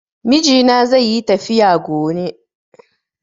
Mijina zaiyi tafiya gone